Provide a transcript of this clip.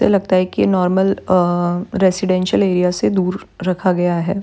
लगता है कि नॉर्मल अअ रेसिडेंशियल एरिया से दूर रखा गया है ।